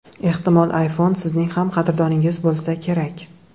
Ehtimol, iPhone Sizning ham qadrdoningiz bo‘lsa kerak.